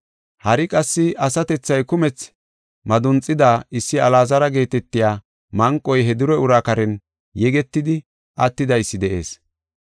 Hari qassi asatethay kumethi madunxida issi Alaazara geetetiya manqoy he dure uraa karen yegetidi attidaysi de7ees.